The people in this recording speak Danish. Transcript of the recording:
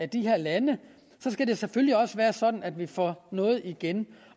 de her lande skal det selvfølgelig også være sådan at vi får noget igen